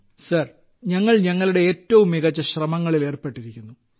group captain sir ഞങ്ങൾ ഞങ്ങളുടെ ഏറ്റവും മികച്ച ശ്രമങ്ങളിൽ ഏർപ്പെട്ടിരിക്കുന്നു